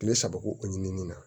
Kile saba ko o ɲinini na